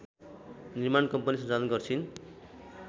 निर्माण कम्पनी सञ्चालन गर्छिन्